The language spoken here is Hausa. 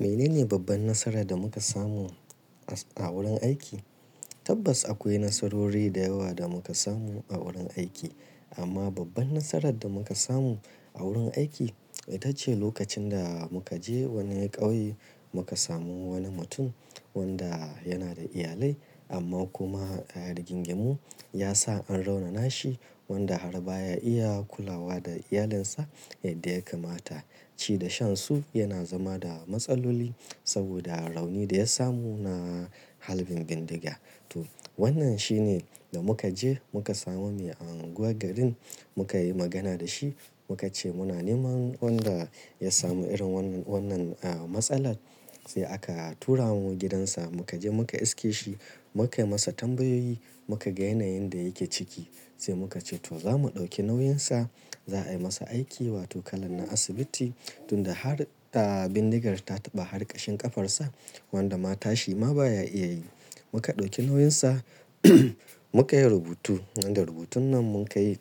Menene babban nasarar da muka samu a wurin aiki? Tabbas akwai nasarori da yawa da muka samu a wurin aiki. Amma babban nasarar da muka samu a wurin aiki ita ce lokacin da muka je wani ƙauye muka samu wani mutum wadda yana da iyalai amma kuma rigingimu ya sa an raunana shi wadda har ba ya iya kulawa da iyalinsa yadda ya kamata. Ci da shan su yana zama da matsaloli saboda rauni da ya samu na halbin bindiga. To wannan shine da muka je muka samu mai anguwa garin muka yi magana da shi muka ce muna neman wadda ya samu irin wannan, wannan aa masalan sai aka tura mu gidansa muka je muka iske shi muka yi masa tambayoyi muka ga yanayin da yake ciki sai muka ce to za mu ɗauki nauyinsa za a yi masa aiki wato kalan na asibiti tunda har ta bindigar ta taɓa har ƙashin ƙafarsa wadda ma tashi ma ba ya iya yi. Muka ɗauki nauyinsa muka yi rubutu wadda rubutun nan mun kai